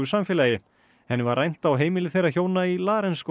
samfélagi henni var rænt á heimili þeirra hjóna í